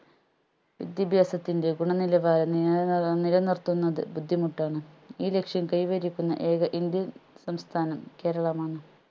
വിദ്യാഭ്യാസത്തിൻറെ ഗുണനിലവാരം നില നി നിലനിർത്തുന്നത് ബുദ്ധിമുട്ടാണ് ഈ ലക്‌ഷ്യം കൈവരിക്കുന്ന ഏക indian സംസ്ഥാനം കേരളമാണ്